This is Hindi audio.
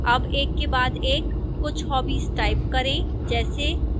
अब एक के बाद एक कुछ hobbies type करें जैसे